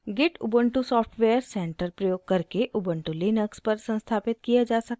git ubuntu software center प्रयोग करके ubuntu Linux पर संस्थापित किया जा सकता है